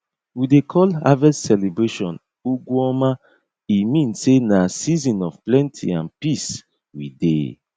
we dey call harvest celebration ugw oma e mean sey na season of plenty and peace we dey